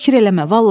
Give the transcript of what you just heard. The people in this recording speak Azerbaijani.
Fikir eləmə.